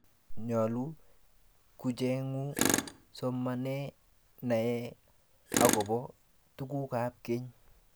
nyoluu kuchengu somanee naee akobo tukuk ab keny